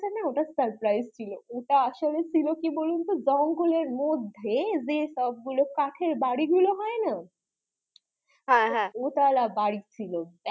না ওটা surprise ছিল ওটা আসলে ছিল কি বলুন তো জঙ্গল এর মধ্যে যে সবগুলো কাঠের বাড়ি হয়না হ্যাঁ হ্যাঁ দোতোলা বাড়ি ছিল